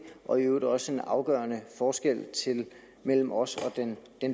og i øvrigt også en afgørende forskel mellem os og den